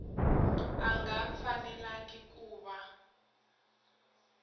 a nga fanelangi ku va